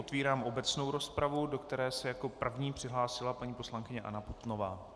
Otvírám obecnou rozpravu, do které se jako první přihlásila paní poslankyně Anna Putnová.